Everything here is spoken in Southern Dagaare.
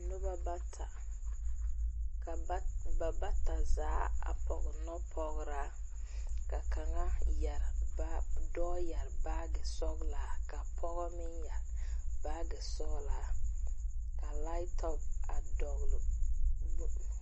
Nuba bata ka bata zaa a pɔg nɔpɔgraa ka doɔ yere baagi sɔglaa ka poɔ meng yere baagi sɔglaa ka laptop dɔgle.